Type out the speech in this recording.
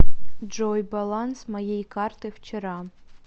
джой баланс моей карты вчера